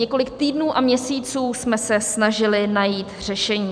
Několik týdnů a měsíců jsme se snažili najít řešení.